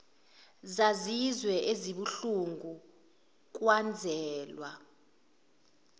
zazizwe ezibuhlungu kwazwela